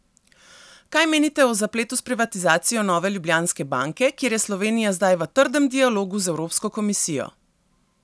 Kaj menite o zapletu s privatizacijo Nove Ljubljanske banke, kjer je Slovenija zdaj v trdem dialogu z evropsko komisijo?